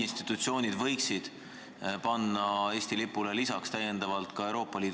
Kindlasti tavad ja kombed on väga tõsine argument, aga üks tavadest järelikult muutus 2016. aasta 9. mail.